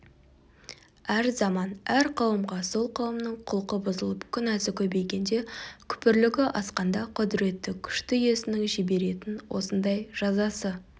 әр заман әр қауымға сол қауымның құлқы бұзылып күнәсі көбейгенде күпірлігі асқанда құдіретті күшті иесінің жіберетін осындай жазасы